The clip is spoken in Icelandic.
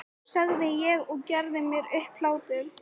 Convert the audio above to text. sagði ég og gerði mér upp hlátur.